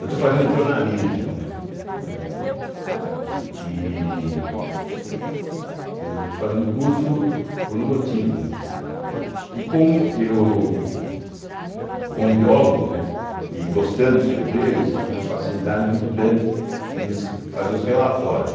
Eu estou fazendo jornalismo, né, né e eu estou fazendo o curso por um motivo, né, que como eu, como biólogo, né e gostando de escrever, tinha facilidade muito grande de fazer os relatórios.